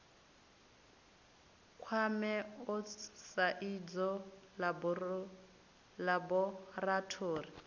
kwame osts sa idzwo ḽaborathori